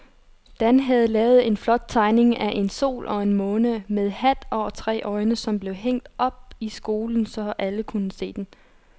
Dan havde lavet en flot tegning af en sol og en måne med hat og tre øjne, som blev hængt op i skolen, så alle kunne se den.